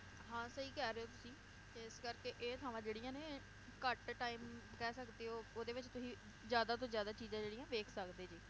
ਹਾਂ ਸਹੀ ਕਹਿ ਰਹੇ ਹੋ ਤੁਸੀਂ ਤੇ ਇਸ ਕਰਕੇ ਇਹ ਥਾਵਾਂ ਜਿਹੜੀਆਂ ਨੇ ਘੱਟ time ਕਹਿ ਸਕਦੇ ਓ, ਓਹਦੇ ਵਿਚ ਤੁਹੀਂ ਜ਼ਿਆਦਾ ਤੋਂ ਜ਼ਿਆਦਾ ਚੀਜ਼ਾਂ ਜਿਹੜੀਆਂ ਵੇਖ ਸਕਦੇ ਜੇ